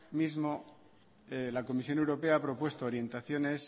mismo año la comisión europea ha propuesto orientaciones